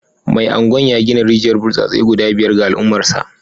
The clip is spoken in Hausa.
Mai Agwan ya gina rijiyar burtsatse guda biyar ga al’ummarsa